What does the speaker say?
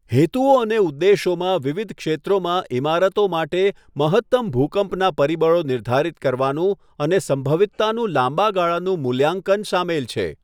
હેતુઓ અને ઉદ્દેશોમાં વિવિધ ક્ષેત્રોમાં ઇમારતો માટે મહત્તમ ભૂકંપના પરિબળો નિર્ધારિત કરવાનું અને સંભવિતતાનું લાંબા ગાળાનું મૂલ્યાંકન સામેલ છે.